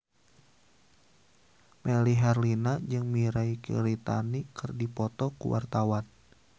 Melly Herlina jeung Mirei Kiritani keur dipoto ku wartawan